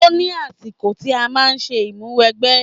Ó ní àsìkò tí a máa ń ṣe ìmúwẹgbẹ́.